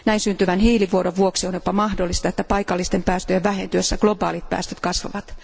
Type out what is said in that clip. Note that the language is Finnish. Näin syntyvän hiilivuodon vuoksi on jopa mahdollista, että paikallisten päästöjen vähentyessä globaalit päästöt kasvavat.